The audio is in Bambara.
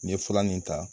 N ye fura nin ta